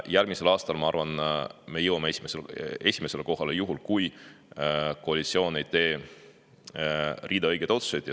Järgmisel aastal, ma arvan, me jõuame esimesele kohale, juhul kui koalitsioon ei tee õigeid otsuseid.